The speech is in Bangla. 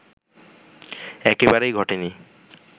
একেবারেই ঘটেনি